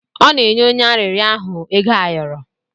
Ọ na-enye onye arịrịọ ahụ ego ayọrọ.